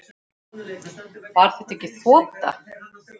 Var þetta ekki þota?